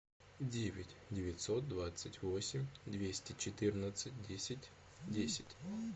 девять девятьсот двадцать восемь двести четырнадцать десять десять